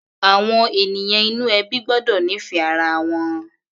Àwọn ènìyàn inú ẹbí gbọ́dọ̀ nífẹ̀ẹ́ ara wọn.